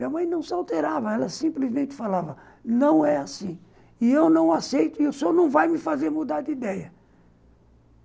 Minha mãe não se alterava, ela simplesmente falava, não é assim e eu não aceito e o senhor não vai me fazer mudar de ideia.